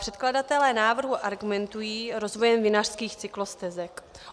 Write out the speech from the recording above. Předkladatelé návrhu argumentují rozvojem vinařských cyklostezek.